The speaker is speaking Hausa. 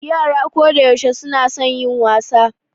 Yara kodayaushe suna son yin wasa.